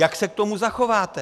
Jak se k tomu zachováte?